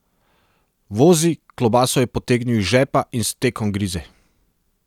Vozi, klobaso je potegnil iz žepa in s tekom grize.